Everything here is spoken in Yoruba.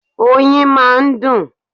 Oyin máa ń dùn.